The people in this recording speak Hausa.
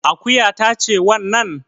Akuya ta ce wannan?